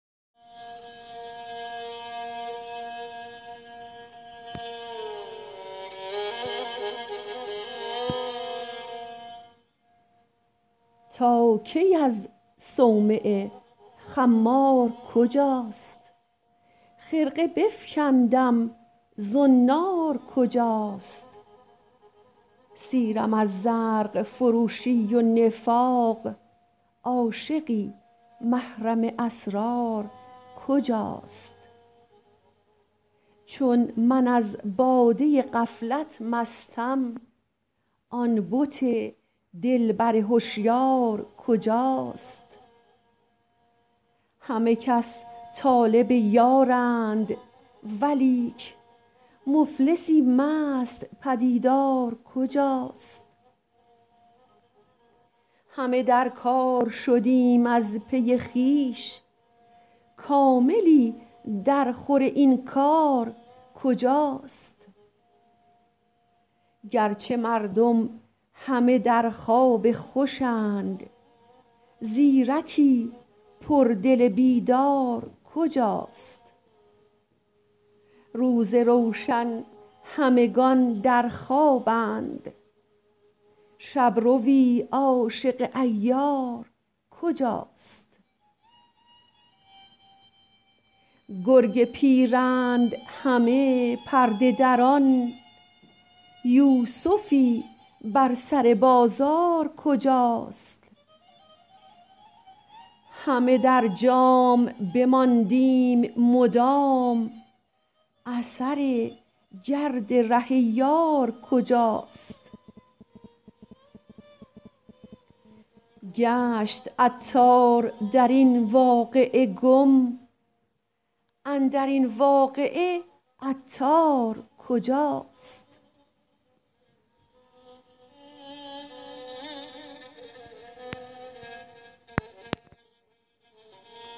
تا کی از صومعه خمار کجاست خرقه بفکندم زنار کجاست سیرم از زرق فروشی و نفاق عاشقی محرم اسرار کجاست چون من از باده غفلت مستم آن بت دلبر هشیار کجاست همه کس طالب یارند ولیک مفلسی مست پدیدار کجاست همه در کار شدیم از پی خویش کاملی در خور این کار کجاست گرچه مردم همه در خواب خوشند زیرکی پر دل بیدار کجاست روز روشن همگان در خوابند شبروی عاشق عیار کجاست گر گ پیرند همه پرده دران یوسفی بر سر بازار کجاست همه در جام بماندیم مدام اثر گرد ره یار کجاست گشت عطار در این واقعه گم اندرین واقعه عطار کجاست